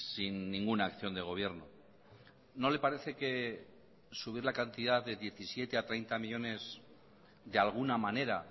sin ninguna acción de gobierno no le parece que subir la cantidad de diecisiete a treinta millónes de alguna manera